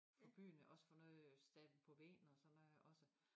For byen også får noget øh stablet på benene og sådan noget også